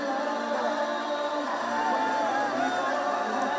Qarabağ!